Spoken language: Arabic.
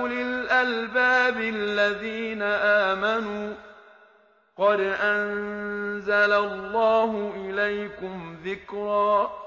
أُولِي الْأَلْبَابِ الَّذِينَ آمَنُوا ۚ قَدْ أَنزَلَ اللَّهُ إِلَيْكُمْ ذِكْرًا